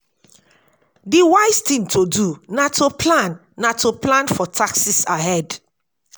di wise thing to do na to plan na to plan for taxes ahead